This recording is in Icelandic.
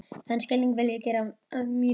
Þann skilning vil ég gera að mínum.